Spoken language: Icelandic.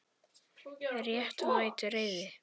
Réttmæt reiði.